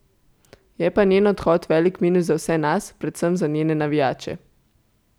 Je pa njen odhod velik minus za vse nas, predvsem za njene navijače.